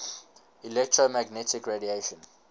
electromagnetic radiation